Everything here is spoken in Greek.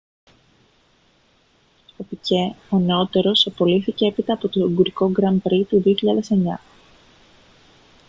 ο πικέ ο νεότερος απολύθηκε έπειτα από το ουγγρικό grand prix του 2009